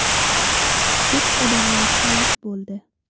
Ko‘plab odamlar halok bo‘ldi.